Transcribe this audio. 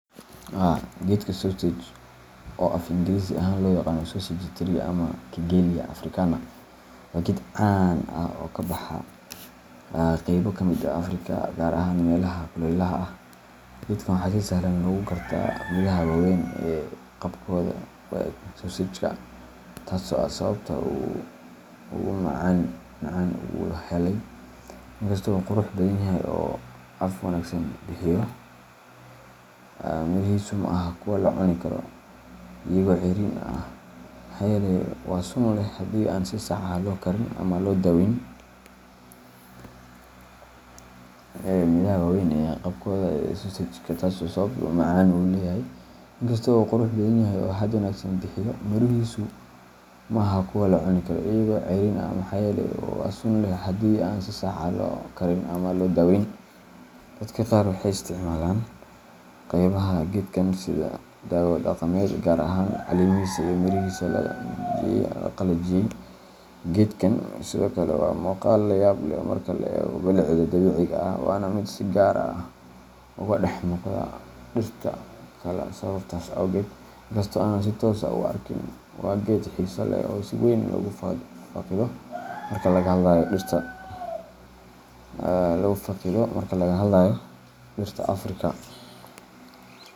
Haa, geedka sausage oo af Ingiriisi ahaan loo yaqaan sausage tree ama Kigelia Africana waa geed caan ah oo ka baxa qaybo ka mid ah Afrika, gaar ahaan meelaha kulaylaha ah. Geedkan waxaa si sahlan lagu gartaa midhaha waaweyn ee qaabkooda u eg sausage-ka, taas oo ah sababta uu magacan u helay. Inkasta oo uu qurux badan yahay oo hadh wanaagsan bixiyo, mirihiisu ma aha kuwo la cuni karo iyagoo cayriin ah maxaa yeelay waa sun leh haddii aan si sax ah loo karin ama loo daweyn. Dadka qaar waxay isticmaalaan qaybaha geedkan sida dawo dhaqameed, gaar ahaan caleemihiisa iyo mirihiisa la qalajiyey. Geedkan sidoo kale waa muuqaal la yaab leh marka laga eego bilicda dabiiciga ah, waana mid si gaar ah uga dhex muuqda dhirta kale sababtaas awgeed. Inkastoo aanan si toos ah u arkin, waa geed xiiso leh oo si weyn loogu faaqido marka laga hadlayo dhirta Afrika.